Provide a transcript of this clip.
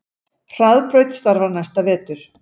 Hraðbraut starfar næsta vetur